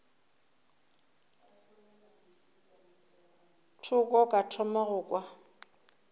thoko ka thoma go kwa